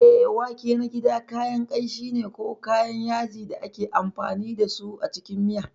Eh, wake na gida kayan kanshi ne ko kayan yaji da ake amfani da su a cikin miya.